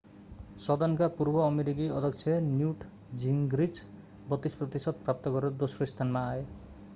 सदनका पूर्व अमेरिकी अध्यक्ष न्युट जिङ्ग्रिच 32 प्रतिशत प्राप्त गरेर दोस्रो स्थानमा आए